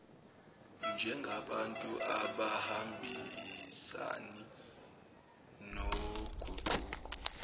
njengabantu abangahambisani noguquko